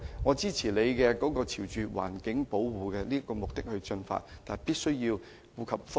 我支持政府朝環保的目標進發，但同時必須顧及各方的利益。